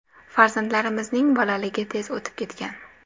Farzandlarimizning bolaligi tez o‘tib ketgan.